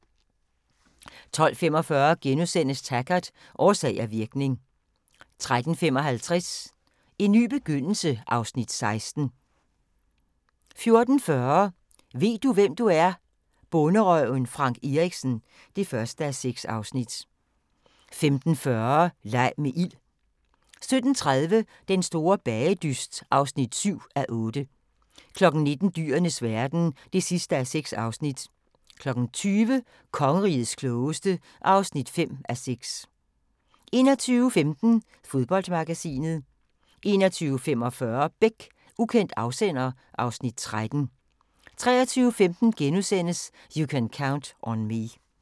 12:45: Taggart: Årsag og virkning * 13:55: En ny begyndelse (Afs. 16) 14:40: Ved du, hvem du er? - Bonderøven Frank Erichsen (1:6) 15:40: Leg med ild 17:30: Den store bagedyst (7:8) 19:00: Dyrenes verden (6:6) 20:00: Kongerigets klogeste (5:6) 21:15: Fodboldmagasinet 21:45: Beck: Ukendt afsender (Afs. 13) 23:15: You Can Count on Me *